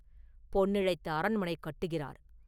பொன்னிழைத்த அரண்மனை கட்டுகிறார்.